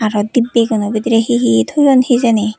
aro dibbeh guno bidireh he he toyun hejeni.